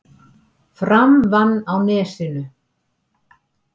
Fram vann á Nesinu